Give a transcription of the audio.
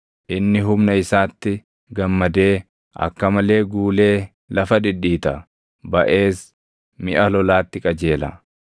Inni humna isaatti gammadee akka malee guulee lafa dhidhiita; baʼees miʼa lolaatti qajeela.